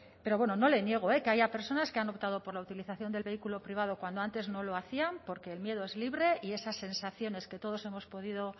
pero bueno no le niego que haya personas que han optado por la utilización del vehículo privado cuando antes no lo hacían porque el miedo es libre y esas sensaciones que todos hemos podido